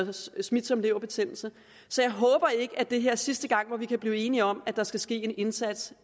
smitsom leverbetændelse så jeg håber ikke at det er sidste gang hvor vi kan blive enige om at der skal ske en indsats